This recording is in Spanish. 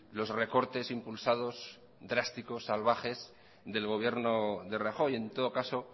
los recortes impulsados drásticos salvajes del gobierno de rajoy en todo caso